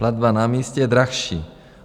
Platba na místě je dražší.